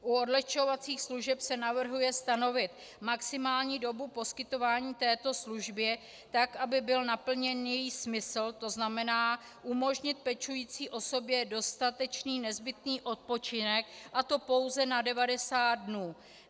U odlehčovacích služeb se navrhuje stanovit maximální dobu poskytování této služby tak, aby byl naplněn její smysl, to znamená umožnit pečující osobě dostatečný nezbytný odpočinek, a to pouze na 90 dnů.